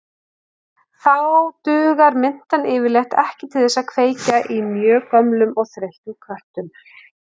Þá dugar mintan yfirleitt ekki til þess að kveikja í mjög gömlum og þreyttum köttum.